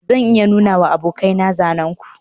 zan iya nunawa abokaina zanen ku